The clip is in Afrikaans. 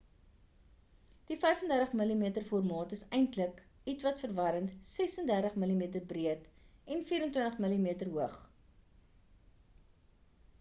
die 35mm formaat is eintlik ietwat verwarrend 36mm breed en 24mm hoog